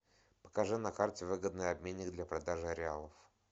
покажи на карте выгодный обменник для продажи реалов